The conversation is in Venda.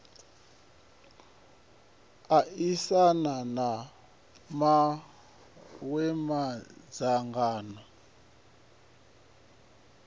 aisana na mawe madzhango sa